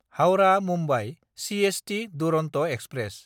Howrah-Mumbai CST Duronto express